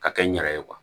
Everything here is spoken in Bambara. Ka kɛ n yɛrɛ ye